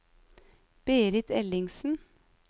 Berit Ellingsen